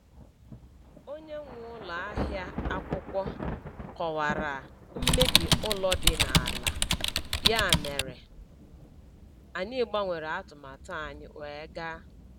Onye nwe ụlọ ahịa akwụkwọ kọwara mmebi ụlọ dị n’ala, ya mere anyị gbanwere atụmatụ anyị wee gaa.